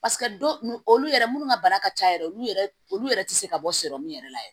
olu yɛrɛ minnu ka baara ka ca yɛrɛ olu yɛrɛ olu yɛrɛ tɛ se ka bɔ yɛrɛ la yɛrɛ